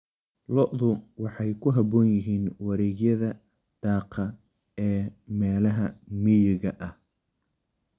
Lo'du waxay ku habboon yihiin wareegyada daaqa ee meelaha miyiga ah.